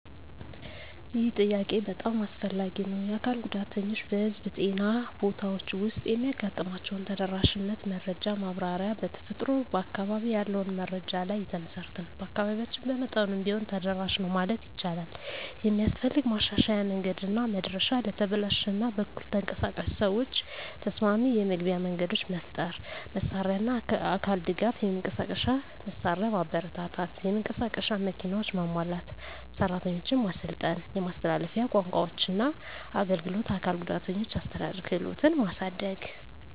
ይህ ጥያቄ በጣም አስፈላጊ ነው። የአካል ጉዳተኞች በህዝብ ጤና ቦታዎች ውስጥ የሚያጋጥሟቸውን ተደራሽነት መረጃ ማብራሪያ በተፈጥሮ በአካባቢ ያለውን መረጃ ላይ የተመሠረተ ነው። በአካባቢያችን በመጠኑም ቢሆን ተደራሽ ነው ማለት ይቻላል። የሚስፈልግ ማሻሻያ መንገድና መድረሻ ለተበላሽ እና በኩል ተንቀሳቃሽ ሰዎች ተስማሚ የመግቢያ መንገዶች መፍጠር። መሳሪያና አካል ድጋፍ የመንቀሳቀሻ መሳሪያ ማበረታታት (የመንቀሳቀስ መኪናዎች) ማሟላት። ሰራተኞች ማሰልጠን የማስተላለፊያ ቋንቋዎችና አገልግሎት አካል ጉዳተኞችን አስተዳደር ክህሎትን ማሳደግ።